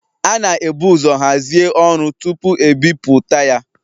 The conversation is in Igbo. A na-ebu ụzọ hazie ọrụ tupu e bipụta ya